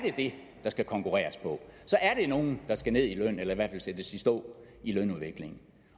det der skal konkurreres på så er der nogen der skal ned i løn eller i hvert fald sættes i stå i lønudvikling